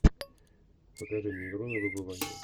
покажи мне игру на выбывание